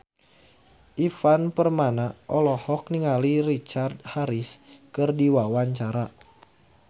Ivan Permana olohok ningali Richard Harris keur diwawancara